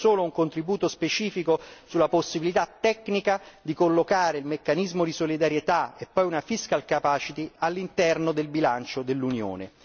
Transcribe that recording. Sottolineo solo un contributo specifico sulla possibilità tecnica di collocare il meccanismo di solidarietà e poi una fiscal capacity all'interno del bilancio dell'Unione.